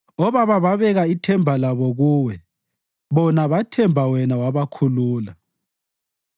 Obaba babeka ithemba labo Kuwe; bona bathemba wena wabakhulula.